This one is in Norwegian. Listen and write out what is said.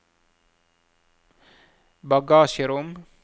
bagasjerom